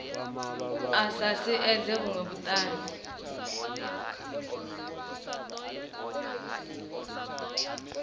a sa siedze vhuṅwe vhuṱanzi